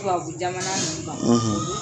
Tubabu Jamana nin kan;